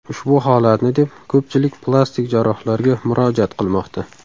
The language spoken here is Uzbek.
Ushbu holatni deb ko‘pchilik plastik jarrohlarga murojaat qilmoqda.